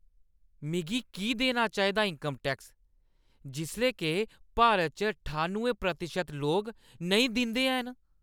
में की देना चाहिदा इन्कम टैक्स, जेल्लै के भारत च ठानुएं प्रतिशत लोक नेईं दिंदे हैन?